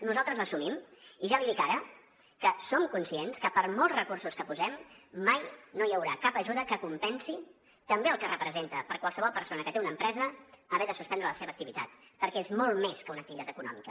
nosaltres l’assumim i ja li dic ara que som conscients que per molts recursos que posem mai no hi haurà cap ajuda que compensi també el que representa per a qualsevol persona que té una empresa haver de suspendre la seva activitat perquè és molt més que una activitat econòmica